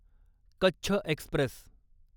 Kutch Express